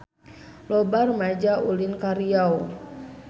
Loba rumaja ulin ka Riau